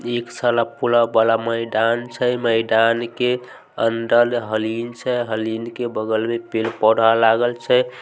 एक सलाब पुल वाला मैदान छै मैदान के अंदर हरिण छै हरिण के बगल में पेड़-पौधा लागल छै।